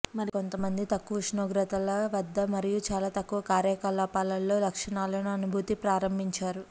మరికొంతమంది తక్కువ ఉష్ణోగ్రతల వద్ద మరియు చాలా తక్కువ కార్యకలాపాల్లో లక్షణాలను అనుభూతి ప్రారంభించారు